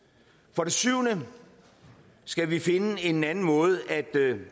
for det syvende skal vi finde en anden måde at